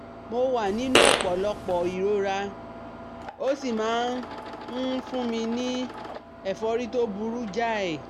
Mo wà nínú ọ̀pọ̀lọpọ̀ ìrora, ó sì máa ń fún mi ní ẹ̀fọ́rí tó burú jáì